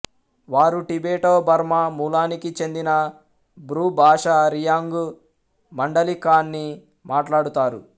వారు టిబెటోబర్మా మూలానికి చెందిన బ్రూ భాష రియాంగు మాండలికాన్ని మాట్లాడుతారు